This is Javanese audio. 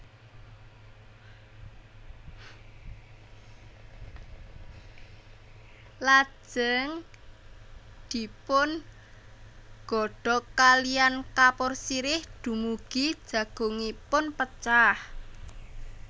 Lajeng dipungodhog kaliyan kapur sirih dumugi jagungipun pecah